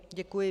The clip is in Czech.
Děkuji.